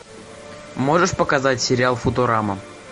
можешь показать сериал футурама